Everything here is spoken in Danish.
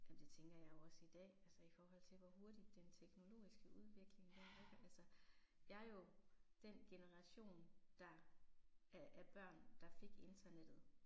Jamen det tænker jeg jo også i dag, altså i forhold til hvor hurtigt den teknologiske udvikling den udvikler sig. Jeg er jo den generation der af af børn der fik internettet